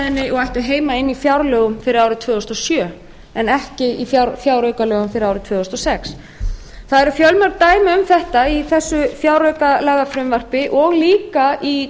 umræðunni og ættu heima inni í fjárlögum fyrir árið tvö þúsund og sjö en ekki í fjáraukalögum fyrir árið tvö þúsund og sex það eru fjölmörg dæmi um þetta í þessu fjáraukalagafrumvarpi og líka í